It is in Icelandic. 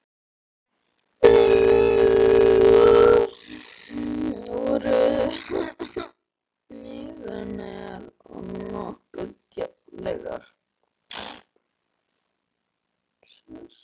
Tillögur mínar voru nýstárlegar og nokkuð djarflegar.